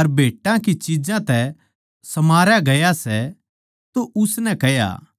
अर भेटां की चिज्जां तै समारया गया सै तो उसनै कह्या